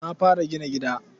Na fara gina gida.